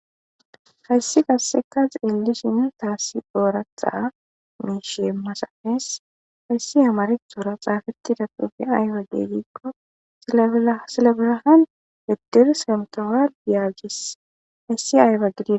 hayssi qasseka xillishin taassi doora xaa miishe masafees hayssi hamareq doora xaafeti datufe aywage giiqqo silabelahan heddir semtowa yaagis hayssi aayba gidie